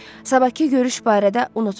Sabahkı görüş barədə unutmayın.